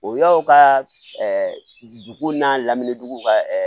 O yɔrɔ ka dugu n'a lamini dugu ka